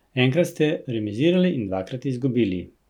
Enkrat ste remizirali in dvakrat izgubili.